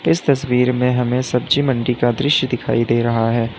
इस तस्वीर में हमें सब्जी मंडी का दृश्य दिखाई दे रहा है।